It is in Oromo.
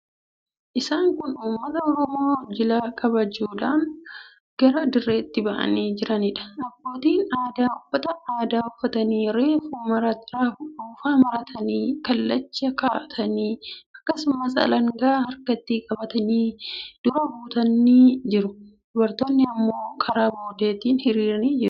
Isaan kun uummata Oromoo jila kabajuudhaaf gara dirreetti ba'anii jiraniidha. Abbootiin gadaa uffata aadaa uffatanii, ruufa maratanii, kallacha kaa'atanii, akkasumas alangaa harkatti qabatanii dura dhaabbatanii jiru. Dubartoonni immoo karaa boodaatiin hiriiranii jiru.